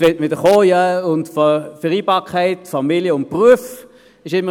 Jetzt will man wieder mit der Vereinbarkeit von Familie und Beruf kommen.